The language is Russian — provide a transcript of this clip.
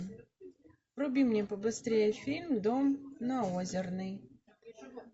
вруби мне побыстрее фильм дом на озерной